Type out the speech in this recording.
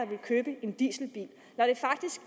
vil købe en dieselbil